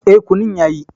E, kunun yayi.